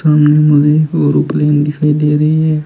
सामने मुझे ओरोप्लेन दिखाई दे रही है।